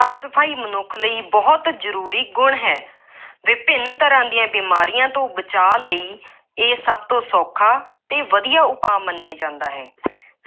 ਸਾਫ ਸਫਾਈ ਮਨੁੱਖ ਲਈ ਬਹੁਤ ਜ਼ਰੂਰੀ ਗੁਣ ਹੈ, ਵਿਭਿੰਨ ਤਰ੍ਹਾ ਦੀਆਂ ਬੀਮਾਰੀਆਂ ਤੋਂ ਬਚਾਅ ਲਈ ਇਹ ਸਭ ਤੋਂ ਸੌਖਾ ਅਤੇ ਵਧੀਆ ਉਪਾਅ ਮੰਨਿਆ ਜਾਂਦਾ ਹੈ।